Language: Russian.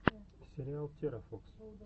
сериал терафокс